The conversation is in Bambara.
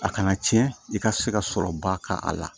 A kana tiɲɛ i ka se ka sɔrɔba k'a la